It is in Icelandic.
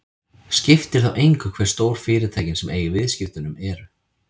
Skiptir þá engu hve stór fyrirtækin sem eiga í viðskiptunum eru.